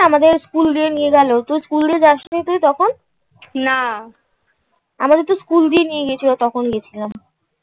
আমাদের স্কুল দিয়ে নিয়ে গেল. তো স্কুল দিয়ে যাস নি. তুই তখন? না আমাদের তো স্কুল দিয়ে নিয়ে গেছিল তখন গেছিলাম.